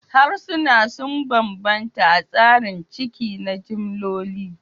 Harsuna sun bambanta a tsarin ciki na jimloli